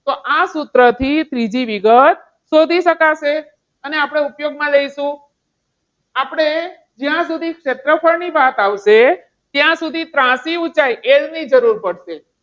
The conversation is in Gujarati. તો આ સૂત્રથી ત્રીજી વિગત શોધી શકાશે. અને આપણે ઉપયોગમાં લઈશું. આપણે જ્યાં સુધી ક્ષેત્રફળની વાત આવશે, ત્યાં સુધી ત્રાસી ઉંચાઈ એની જરૂર પડશે.